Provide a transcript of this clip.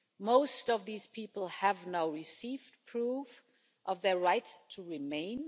Most of these people have now received proof of their right to remain.